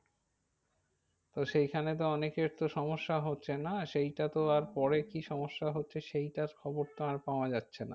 তো সেইখানে তো অনেকের তো সমস্যাহচ্ছে না। সেইটা তো আর পরে কি সমস্যা হচ্ছে সেইটার খবর তো আর পাওয়া যাচ্ছে না।